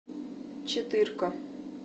четырка